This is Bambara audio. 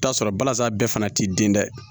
I bi t'a sɔrɔ balasa bɛɛ fana t'i den da